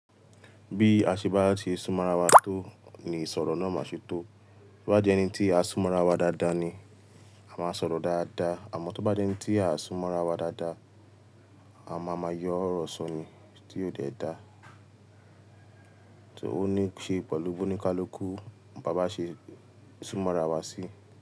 Bí a ṣe bá ti súnmọ́ ara wa tó ni ìsọ̀rọ̀ náà máa ṣe tó. Bí ó bá jẹ́ ẹni tí a súnmọ́ ara wa dáadáa ni a máa sọ̀rọ̀ dáadáa. Àmọ́ tó bá jẹ́ ẹni tí a súnmọ́ ara wa dáadáa, a máa ma yọ ọ̀rọ̀ sọni tí o dẹ dáa. So ò ní ṣe pẹ̀lú bo nikálukù bá bá ṣe súnmọ́ ra wa sí.